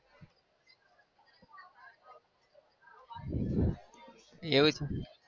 એવું